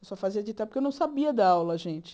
Eu só fazia ditar porque eu não sabia dar aula, gente.